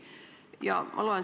Ma loen siit natuke ette.